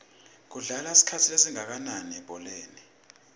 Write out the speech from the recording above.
kudlalwa isikhathi esingakananilebholeni